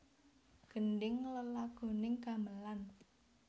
Gendhing lelagoning gamelan